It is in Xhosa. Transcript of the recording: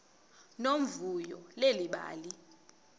nomvuyo leli bali